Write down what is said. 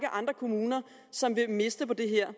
andre kommuner som vil miste på det her